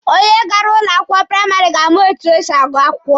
Onye gara ụlọ akwụkwọ praịmarị ga-ama etu esi agụ akwụkwọ.